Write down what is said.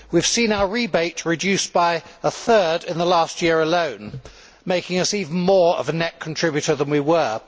We have seen our rebate reduced by a third in the last year alone, making us even more of a net contributor than we were.